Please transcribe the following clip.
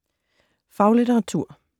Faglitteratur